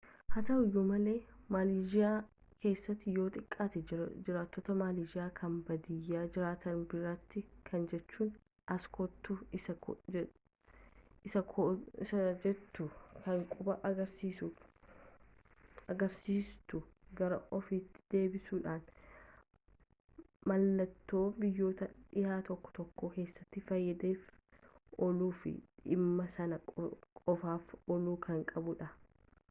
haa ta'u iyyuu malee maleezhiyaa keessatti yoo xiqqaate jiraattota maleezhiyaa kan baadiyaa jiraatan biratti kana jechuun as kottu isii jettu kan quba agarsiistuu gara ofiitti dabsuudhaan mallattoo biyyoottan dhihaa tokko tokko keessatti faayidaaf ooluu fi dhimma sana qofaaf ooluu kan qabudha